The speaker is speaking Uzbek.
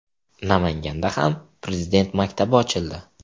Namanganda ham Prezident maktabi ochildi .